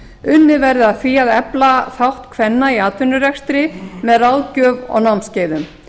unnið verði að því að efla þátt kvenna í atvinnurekstri með ráðgjöf og námskeiðum